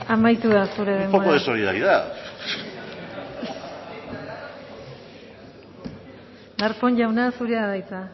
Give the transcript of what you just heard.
amaitu da zure denbora un poco de solidaridad darpón jauna zurea da hitza